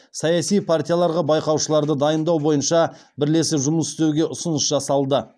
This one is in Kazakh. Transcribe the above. саяси партияларға байқаушыларды дайындау бойынша бірлесіп жұмыс істеуге ұсыныс жасалды